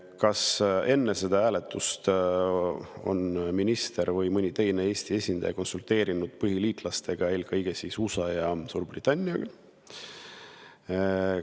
Kas enne seda hääletust on minister või mõni teine Eesti esindaja konsulteerinud põhiliitlastega, eelkõige USA ja Suurbritanniaga?